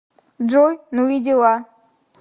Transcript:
джой ну и дела